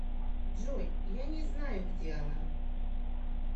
джой я не знаю где она